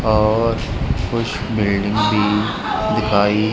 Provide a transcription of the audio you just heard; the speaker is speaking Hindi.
और कुछ बिल्डिंग भी दिखाई--